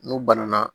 N'u banana